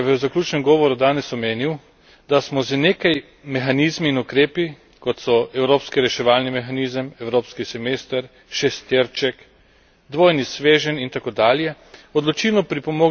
Že predsednik Barosso je v zaključnem govoru danes omenil, da smo z nekaj mehanizmi in ukrepi, kot so evropski reševalni mehanizem, evropski semester, šesterček, dvojni sveženj itd.